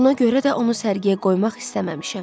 Buna görə də onu sərgiyə qoymaq istəməmişəm.